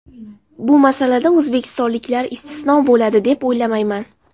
Bu masalada o‘zbekistonliklar istisno bo‘ladi, deb o‘ylamayman.